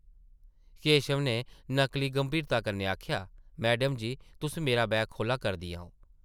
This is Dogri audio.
केशव नै नकली गंभीरता कन्नै आखेआ ,‘‘ मैडम जी, तुस मेरा बैग खोह्ल्ला करदियां ओ ।’’